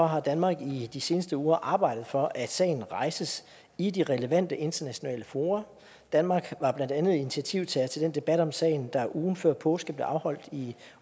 har danmark i de seneste uger arbejdet for at sagen rejses i de relevante internationale fora danmark var blandt andet initiativtager til den debat om sagen der ugen før påske blev afholdt i